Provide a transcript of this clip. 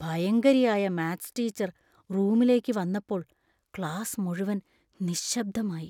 ഭയങ്കരിയായ maths teacher‍ റൂമിലേക്ക് വന്നപ്പോൾ class മുഴുവൻ നിശ്ശബ്ദമായി.